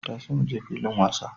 Tashi muje filin wasa!